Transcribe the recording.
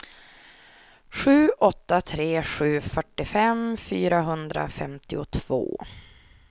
sju åtta tre sju fyrtiofem fyrahundrafemtiotvå